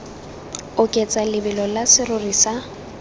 oketsa lebelo la serori sa